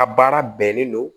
A baara bɛnnen don